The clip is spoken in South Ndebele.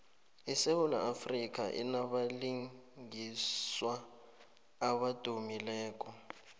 isewula afrika inabalingiswa abadumileko